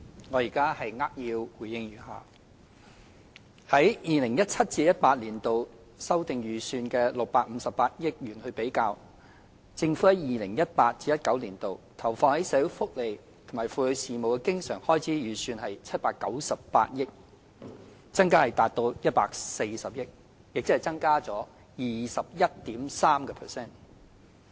我現在扼要回應如下：與 2017-2018 年度修訂預算的658億元比較，政府在 2018-2019 年度投放於社會福利及婦女事務的經常開支預算為798億元，增加達140億元，即增加 21.3%。